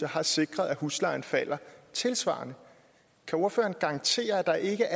har sikret at huslejen falder tilsvarende kan ordføreren garantere at der ikke